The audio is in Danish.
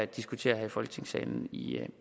diskutere her i folketingssalen i